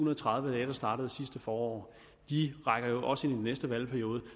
og tredive dage der startede sidste forår rækker jo også ind i den næste valgperiode